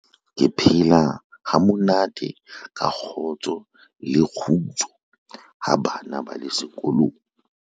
ke phela ha monate ka kgotso le kgutso ha bana ba le sekolong